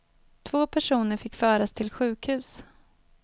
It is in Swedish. Två personer fick föras till sjukhus.